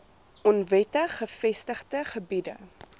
onwettig gevestigde gebiede